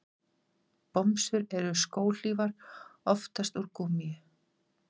Bomsur eru skóhlífar, oftast úr gúmmíi.